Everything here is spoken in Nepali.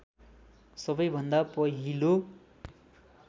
सबैभन्दा पहिलो